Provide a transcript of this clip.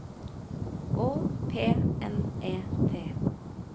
Å P N E T